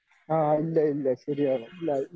ആ ഇല്ല ഇല്ല ശരിയാണ്.